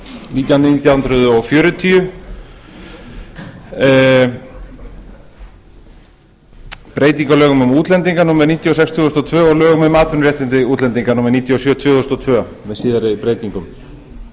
nítján nítján hundruð fjörutíu breytingu á lögum um útlendinga númer níutíu og sex tvö þúsund og tvö og lögum um atvinnuréttindi útlendinga númer níutíu og sjö tvö þúsund og tvö með síðari breytingum